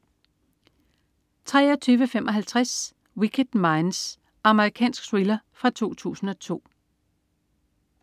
23.55 Wicked Minds. Amerikansk thriller fra 2002